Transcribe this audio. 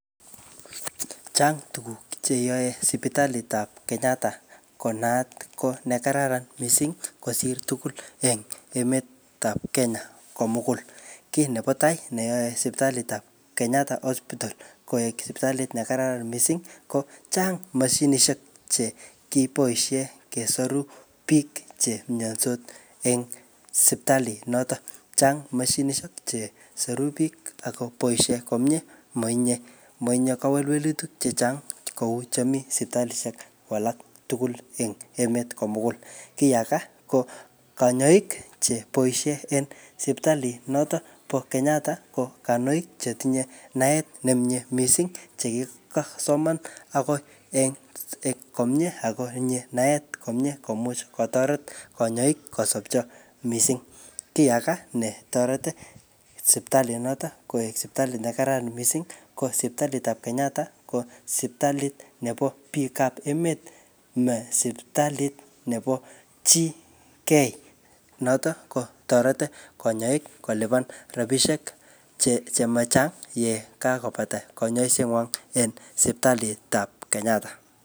Chang tuguk che yae sipitalit ap Kenyatta ko naat ko ne kararan misssing kosir tugul en emet ap Kenya komugul. Kiy nebo tai neyae sipitalit ap Kenyatta Hospital koek sipitalit ne kararan missing, ko chang mashinishek che kiboisie kesoru biik che mayndos en sipitalit notok. Chang mashinishek che soru biik akoboisie komyee, matinye-matinye kawelwelutik chechang kou che mii sipitalishek alak tugul eng emet komugul. Kiy age, ko kanyaik che boisie en sipitalit notok bo Kenyatta ko kanyoik chetinye naet nemiee missing che kikosoman ako en-en komyee akotinye naet komyee komuch kotoret kanyaik kosopcho missing. Kiy age ne toreti siptalit notok koek sipitalit ne kararan missing ko sipitalit ap Kenyatta, ko sipitalit nebo biik ap emet, ma sipitalit nebo chii key. Notok kotoreti kanyaik kolipan rabisiek che-che machang yekakobata kanyaiset ngwong eng sipitalit ap Kenyatta.